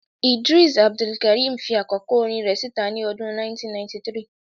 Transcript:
Idrees Abdulkareem fi àkọ́kọ́ orin rẹ̀ síta ní ọdún 1993